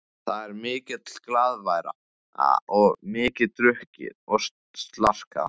Það er mikil glaðværð og mikið drukkið og slarkað.